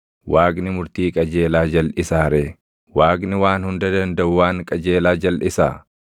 Waaqni murtii qajeelaa jalʼisaa ree? Waaqni Waan Hunda Dandaʼu waan qajeelaa jalʼisaa?